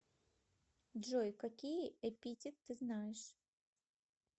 джой какие эпитет ты знаешь